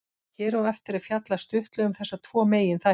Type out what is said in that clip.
Hér á eftir er fjallað stuttlega um þessa tvo meginþætti.